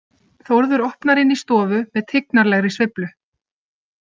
Þórður opnar inn í stofu með tignarlegri sveiflu.